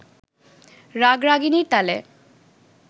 রাগরাগিনীর তালে